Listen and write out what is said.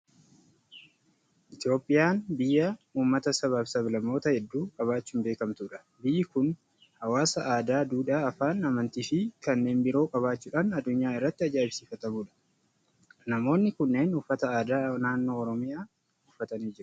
Itoophiyaan biyya uummata, sabaa fi sab-lammoota hedduu qabaachuun beekamtudha. Biyyi kun hawaasa aadaa, duudhaa, afaan, amantii fi kanneen biroo qabaachuudhaan addunyaa irratti ajaa'ibsiifamtudha. Namoonni kunneen uffata aadaa naannoo Oromiyaa uffatanii jiru.